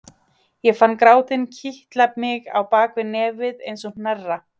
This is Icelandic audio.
Ég fann grátinn kitla mig á bak við nefið eins og hnerra.